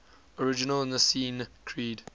original nicene creed